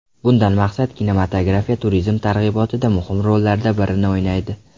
Bundan maqsad kinematografiya turizm targ‘ibotida muhim rollardan birini o‘ynaydi.